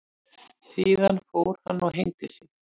Síðan fór hann og hengdi sig.